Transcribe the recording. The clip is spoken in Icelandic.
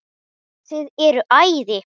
Þið eruð æði.